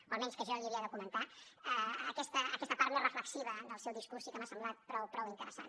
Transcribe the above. o almenys que jo l’hi havia de comentar aquesta part més reflexiva del seu discurs sí que m’ha semblat prou interessant